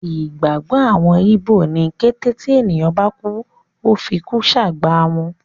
Ìgbàgbọ́ àwọn ígbò ni kété tí ènìyàn bá kú, Ó ti fikú sàgbà wọn.